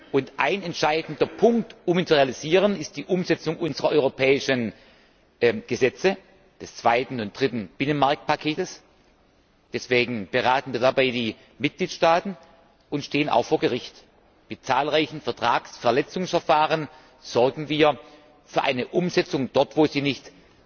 Und ein entscheidender Punkt, um ihn zu realisieren, ist die Umsetzung unserer europäischen Gesetze des zweiten und dritten Binnenmarktpakets deswegen beraten wir dabei die Mitgliedstaaten und stehen auch vor Gericht Mit zahlreichen Vertragsverletzungsverfahren sorgen wir für eine Umsetzung dort, wo sie nicht